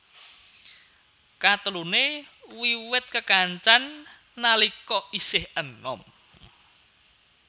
Kateluné wiwit kekancan nalika isih enom